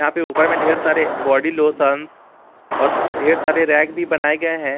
यहां पे ऊपर में ढेर सारे बॉडी लोशन्स और ढेर सारे रैक भी बनाए गए हैं।